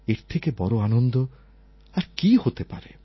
এর থেকে বড় আনন্দ আর কি হতে পারে